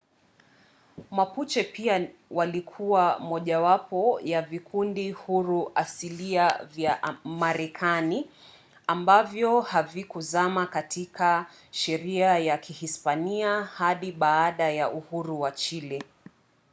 mapuche pia walikuwa mojawapo ya vikundi huru asilia vya marekani ambavyo havikuzama kabisa katika sheria ya kihispania hadi baada ya uhuru wa chile